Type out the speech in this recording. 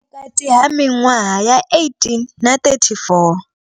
Vhukati ha miṅwaha ya 18 na 34.